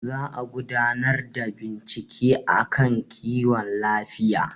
za a gudanar da bincike a kan kiwon lafiya